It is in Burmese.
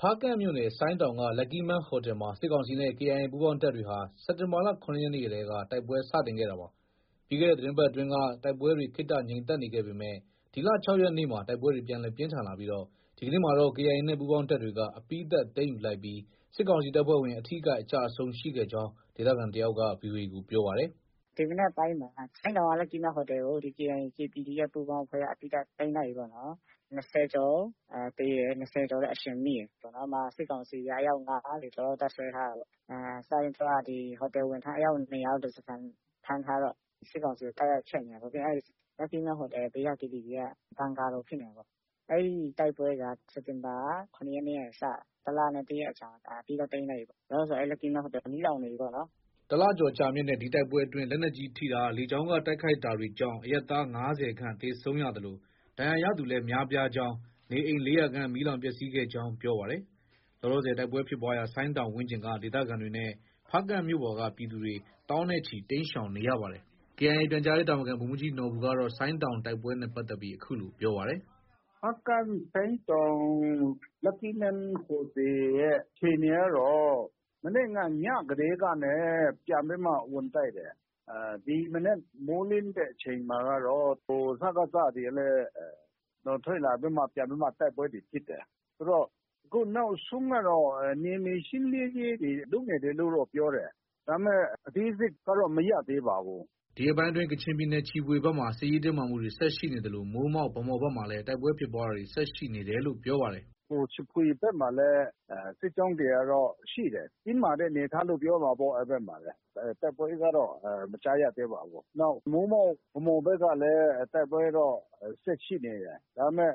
ဖားကန့်မြို့နယ် ဆိုင်းတောင်က Lucky Man ဟိုတယ်မှာ စစ်ကောင်စီနဲ့ KIA ပူးပေါင်းတပ်တွေဟာ စက်တင်ဘာလ ၇ရက်နေ့တည်းက တိုက်ပွဲစတင်ခဲ့တာပါ။ ပြီးခဲ့တဲ့ သတင်းပတ်အတွင်းက တိုက်ပွဲတွေတွေ ခေတ္တငြိမ်သက်နေခဲ့ပေမဲ့ ဒီလ ၆ရက်နေ့မှာတိုက်ပွဲတွေ ပြန်လည် ပြင်းထန်လာပြီး ဒီကနေ့မှာတော့ KIA နဲ့ ပူးပေါင်းတပ်တွေက အပြီးသတ် သိမ်းယူလိုက်ပြီး စစ်ကောင်စီတပ်ဖွဲ့ဝင်တွေ အထိအခိုက် အကျအဆုံး ရှိခဲ့ကြောင်း ဒေသခံတယောက်က ဗွီအိုအေကို ပြောပါတယ်။ “ ဒီမနက်ပိုင်းမှာ ဆိုင်းတောင်က Lucky Man ဟိုတယ်ကို KIA၊ KPDF ပူးပေါင်းအဖွဲ့က အပြီးသတ် ၂၀ကျော်သေတယ်။ ၂၀ကျော်လည်း အရှင်မိတယ်။ စစ်ကောင်စီက အယောက် ၅၀ကျော်လောက် တပ်စွဲထားတာပေါ့။ စစချင်း သူတို့က ဟိုတယ်ဝန်ထမ်းအယောက် ၂၀၀ေလောက်ကို ဓါးစာခံ ဖမ်းထားတော့ တိုက်ရခက်နေတာပေါ့။ စစ်ကောင်စီကို တိုက်ရခက်နေတာပေါ့။ ပြီးရင် Lucky Man ဟိုတယ် ဘေးက KTV က ဘန်ကာလို့ ဖြစ်နေတာပေါ့။ အဲဒီတိုက်ပွဲက စက်တင်ဘာ ၇ရက်နေ့ကနေ စတာ။ တလနဲ့ တရက်အကြာမှာ အပြီးသတ် သိမ်းလိုက်ပြီပေါ့နော်။ လောလောဆယ် အဲဒီ Lucky Man ဟိုတယ် မီးလောင်နေပြီပေါ့နော်။ ” တလကျော် ကြာမြင့်တဲ့ ဒီတိုက်ပွဲအတွင်း လက်နက်ကြီး ထိတာ၊ လေကြောင်းက တိုက်ခိုက်တာတွေကြောင့် အရပ်သား ၅၀ခန့်သေဆုံးရသလို ဒဏ်ရသူလည်း များပြားကြောင်းနဲ့ နေအိမ် ၄၀၀ခန့် မီးလောင်ပျက်ဆီးခဲ့ကြောင်း ပြောပါတယ်။ လောလောဆယ် တိုက်ပွဲဖြစ်ပွားရာ ဆိုင်းတောင်ဝန်းကျင်က ဒေသခံတွေနဲ့ ဖားကန့်မြို့ပေါ်က ပြည်သူတွေ သောင်းနဲ့ချီ တိမ်းရှောင်နေရပါတယ်။ KIA ပြန်ကြားရေးတာဝန်ခံ ဗိုလ်မှုးကြီးနော်ဘူကတော့ ဆိုင်းတောင်တိုက်ပွဲနဲ့ ပတ်သက်ပြီး အခုလို ပြောပါတယ်။ “ ဖားကန့် ဆိုင်းတောင် Lucky Man ဟိုတယ်အခြေအနေကတော့ မနေ့က ညကတည်းကနေ ပြန်ပြီးတော့ ဝင်တိုက်တယ်။ ဒီမနက် မိုးလင်းတဲ့အချိန်မှာကတော့ စကစတွေကလည်း ထွက်လာပြီးမှ တိုက်ပွဲတွေ ဖြစ်တယ်။ ဆိုတော့ အခုနောက်ဆုံးကတော့ နယ်မြေရှင်းလင်းရေးတွေ လုပ်နေတယ်လို့တော့ ပြောတယ်။ ဒါပေမဲ့ အသေးစိတ်ကတော့ မရသေးပါဘူး။” ဒီရက်ပိုင်းအတွင်း ကချင်ပြည်နယ် ချီဖွေဘက်မှာ စစ်ရေးတင်းမာမှုတွေ ဆက်ရှိနေသလို မိုးမောက်၊ ဗန်းမော်ဘက်မှာလည်း တိုက်ပွဲဖြစ်ပွားတာတွေ ဆက်ရှိနေတယ်လို့ ပြောပါတယ်။ “ ချီဖွေဘက်မှာလည်း စစ်ကြောင်းတွေကတော့ ရှိတယ်။ တင်းမာတဲ့အနေအထားလို့ ပြောရမှာပေါ့။ အဲဒီ ဘက်မှာလည်း။ တိုက်ပွဲကတော့ မကြားရသေးပါဘူး။ နောက် မိုးမောက်၊ ဗန်းမော်ဘက်ကလည်း တိုက်ပွဲက တော့ ဆက်ရှိနေတယ်။ ဒါပေမဲ့